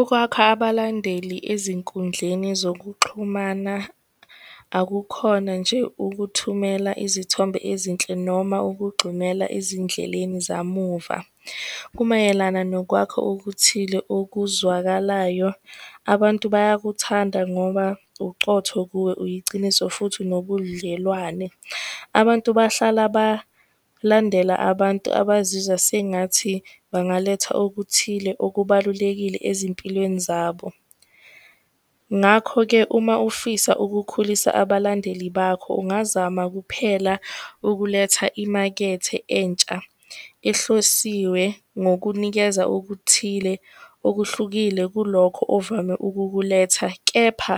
Ukwakha abalandeli ezinkundleni zokuxhumana, akukhona nje ukuthumela izithombe ezinhle, noma ukugxumela ezindleleni zamuva. Kumayelana nokwakha okuthile okuzwakalayo. Abantu bayakuthanda ngoba ucotho kuwe, uyiciniso, futhi unobudlelwane. Abantu bahlala balandela abantu abazizwa sengathi bangaletha okuthile, okubalulekile ezimpilweni zabo. Ngakho-ke uma ufisa ukukhulisa abalandeli bakho, ungazama kuphela ukuletha imakethe entsha, ehlosiwe ngokunikeza okuthile okuhlukile kulokho ovame ukukuletha, kepha